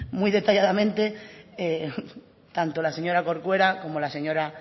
muy detalladamente tanto la señora corcuera como la señora